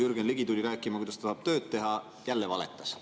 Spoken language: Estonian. Jürgen Ligi tuli rääkima, kuidas ta tahab tööd teha – jälle valetas.